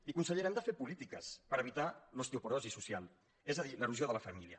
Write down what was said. i consellera hem de fer polítiques per evitar l’osteoporosi social és a dir l’erosió de la família